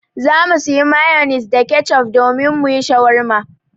Za mu sayi mayonis da kecof domin mu yi shawarma.